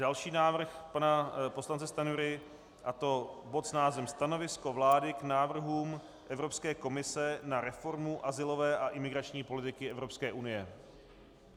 Další návrh pana poslance Stanjury, a to bod s názvem Stanovisko vlády k návrhům Evropské komise na reformu azylové a imigrační politiky Evropské unie.